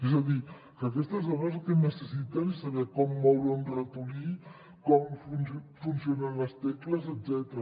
és a dir que aquestes dones el que necessiten és saber com moure un ratolí com funcionen les tecles etcètera